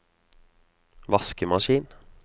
vaskemaskin